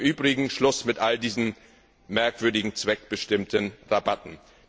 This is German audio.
Und übrigens Schluss mit all diesen merkwürdigen zweckbestimmten Rabatten!